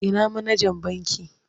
Ina manajan bankin?